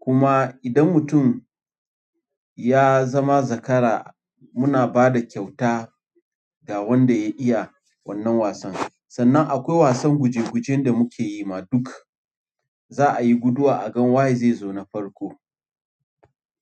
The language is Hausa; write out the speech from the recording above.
Kuma idan mutum ya zama zakara muna ba da kyauta ga wanda ya iya wannan wasan. Sannan akwai wasan guje-guje da muke yi ma duka. Za ayi guduwa a ga waye zai zo na farko.